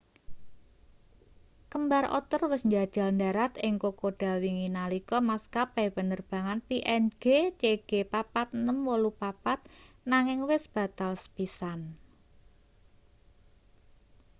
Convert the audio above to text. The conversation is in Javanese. kembar otter wis njajal ndharat ing kokoda wingi nalika maskapai penerbangan png cg4684 nanging wis batal sepisan